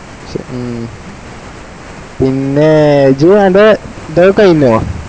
ഉം പിന്നെ ഇജ്ജ് അന്റ്റെ ഇതൊക്കല് ഇല്ലേ